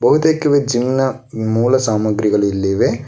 ಬಹುತೇಕ ಜಿಮ್ ನ ಮೂಲ ಸಾಮಾಗ್ರಿಗಳು ಇಲ್ಲಿವೆ.